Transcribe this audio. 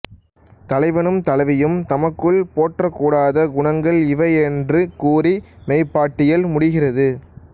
தலைவனும் தலைவியும் தமக்குள் போற்றக்கூடாத குணங்கள் இவை என்று கூறி மெய்ப்பாட்டியல் முடிகிறது